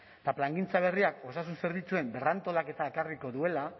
eta plangintza berriak osasun zerbitzuen berrantolaketa ekarriko duela